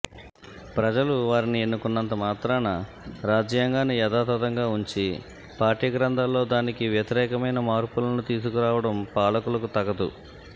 ప్రజలు వారిని ఎన్నుకున్నంత మాత్రాన రాజ్యాంగాన్ని యథాతథంగా ఉంచి పాఠ్య గ్రంథాల్లో దానికి వ్యతిరేకమైన మార్పులను తీసుకురావడం పాలకులకు తగదు